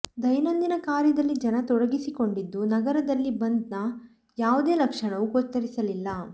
ದೈನಂದಿನ ಕಾರ್ಯದಲ್ಲಿ ಜನ ತೊಡಗಿಸಿಕೊಂಡಿದ್ದು ನಗರದಲ್ಲಿ ಬಂದ್ನ ಯಾವ ಲಕ್ಷಣವೂ ಗೋಚರಿಸಲಿಲ್ಲ